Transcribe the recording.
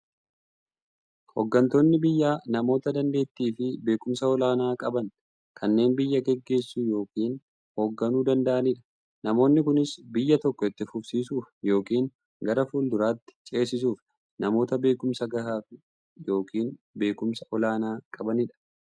Hooggantoonni biyyaa namoota daanteettiifi beekumsa olaanaa qaban, kanneen biyya gaggeessuu yookiin hoogganuu danda'aniidha. Namoonni kunis, biyya tokko itti fufsiisuuf yookiin gara fuulduraatti ceesisuuf, namoota beekumsa gahaa yookiin beekumsa olaanaa qabaniidha.